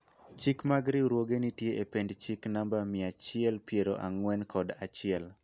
chik mag riwruoge nitie e pend chik namba mia achiel piero ang'wen kod achiel